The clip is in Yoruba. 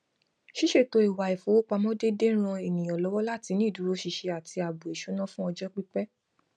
ṣíṣètò ìwà ifowópamọ déédéé ń ran ènìyàn lọwọ láti ní ìdúróṣinṣin àti ààbò ìṣúná fún ọjọ pípẹ